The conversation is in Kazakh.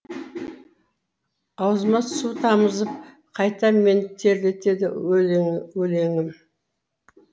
аузыма су тамызып қайта мені терлетеді өлеңім